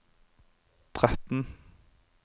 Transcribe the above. tretten